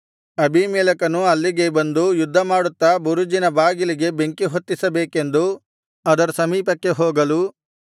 ಅಬೀಮೆಲೆಕನು ಅಲ್ಲಿಗೆ ಬಂದು ಯುದ್ಧಮಾಡುತ್ತಾ ಬುರುಜಿನ ಬಾಗಿಲಿಗೆ ಬೆಂಕಿ ಹೊತ್ತಿಸಬೇಕೆಂದು ಅದರ ಸಮೀಪಕ್ಕೆ ಹೋಗಲು